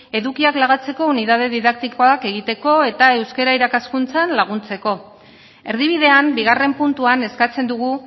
edukiak lagatzeko unitate didaktikoak egiteko eta euskara irakaskuntzan laguntzeko erdibidean bigarren puntuan eskatzen dugu